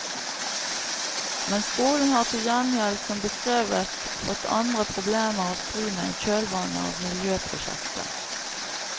Men skolen har til gjengjeld, som beskrevet, fått andre problemer å stri med i kjølvannet av miljøprosjektet.